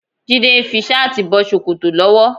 Jídé ń fi ṣáàtì bọ ṣòkòtò lọ́wọ́.